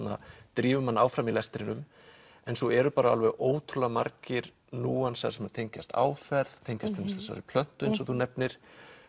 drífur mann áfram í lestrinum en svo eru alveg ótrúlega margir núansar sem tengjast áferð tengjast til dæmis þessari plöntu eins og þú nefnir